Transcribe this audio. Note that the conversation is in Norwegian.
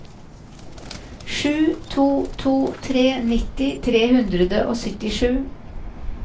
sju to to tre nitti tre hundre og syttisju